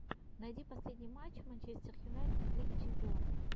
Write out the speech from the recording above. найди последний матч манчестер юнайтед в лиге чемпионов